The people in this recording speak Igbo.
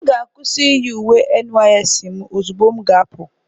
M ga-akwụsị iyi uwe NYSC m ozugbo m ga-apụ.